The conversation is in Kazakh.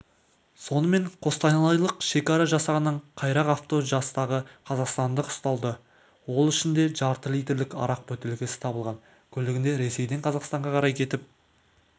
сонымен қостанайлық шекара жасағының қайрақ авто жастағы қазақстандық ұсталды ол ішінде жарты литрлік арақ бөтелкесі табылған көлігінде ресейден қазақстанға қарай кетіп